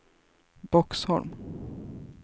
Boxholm